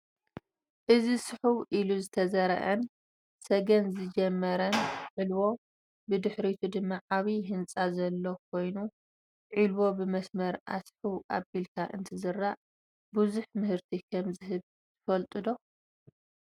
እዚ ስሑው ኢሉ ዝተዘርአን ሰገን ዝጀመረን ዖልዎ ብድሕሪቱ ድማ ዓብይ ህንፃ ዘሎ ኮይኑ ዒልዎ ብመስመር አስሕው አቢልካ እንትዝራእ ብዙሕ ምህርቲ ከም ዝህብ ትፈልጡ ዶ?